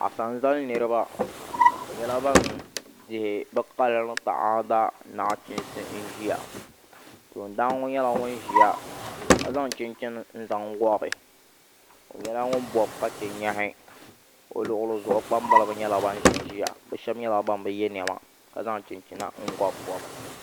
Asanzali niraba bi nyɛla ban di bi kaya ni taada nachiinsi n ʒiya toon daan ŋo nyɛla ŋun ʒiya ka zaŋ chinchini n zaŋ gobi o nyɛla ŋun bob ka chɛ nyaɣi o luɣuli zuɣu o kpambalibi nyɛla bin ʒinʒiya bi shab nyɛla ban bi yɛ niɛma ka zaŋ chinchina n gobi gobi